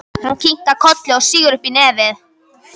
Hún kinkar kolli og sýgur upp í nefið.